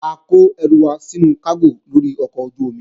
A kó ẹrù wa sínú kágò lórí ọkọ̀ ojú-omi